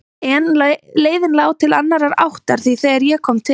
En leiðin lá til annarrar áttar því þegar ég kom til